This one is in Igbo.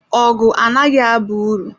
Ọgụ anaghị aba uru.